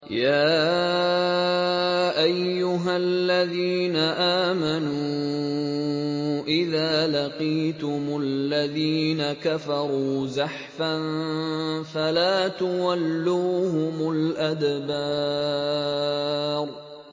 يَا أَيُّهَا الَّذِينَ آمَنُوا إِذَا لَقِيتُمُ الَّذِينَ كَفَرُوا زَحْفًا فَلَا تُوَلُّوهُمُ الْأَدْبَارَ